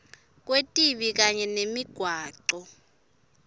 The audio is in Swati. kwetibi kanye nemigwaco